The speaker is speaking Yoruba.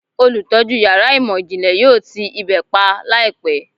Olutọju yara imọ-jinle yoo ti ibe pa laipẹ